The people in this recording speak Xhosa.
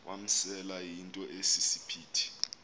wamasele yinto esisiphithi